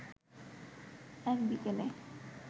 এক বিকেলে